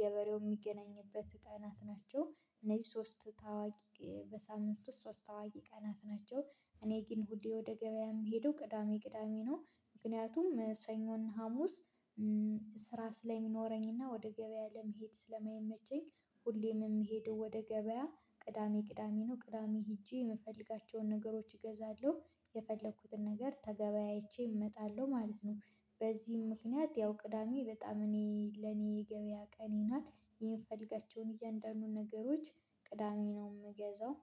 ገበሬው የሚገናኝበት ቀናት ናቸው እነዚህ ሶስት ታዋቂ በሳምንት ውስጥ ሶስት ታዋቂ ቀናት ናቸው። እኔ ግን ሁሌ ወደ ገበያ የምሄደው ቅዳሜ ቅዳሜ ነው ምክንያቱም ሰኞና ሀሙስ ስራ ስለሚኖረኝና ወደ ገበያ ለመሄድ ስለማይመቼኝ። ሁሌም የምሄደው ወደ ገበያ ቅዳሜ ቅዳሜ ነው ቅዳሜ ሄጄ የምፈልጋቸውን ነገሮች እገዛለሁ የፈለኩትን ነገር ተገበያይቼ እመጣለሁ ማለት ነው። በዚህም ምክንያት ያው ቅዳሜ በጣም እኔ ለኔ ገበያ ቀኔ ናት የምፈልጋቸውን እያንዳንዱን ነገሮች ቅዳሜ ነው የምገዛው።